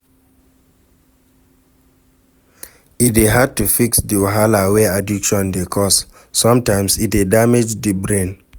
E dey hard to fix di wahala wey addiction dey cause, sometimes e dey damage di brain